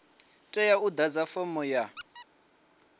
tea u ḓadza fomo ya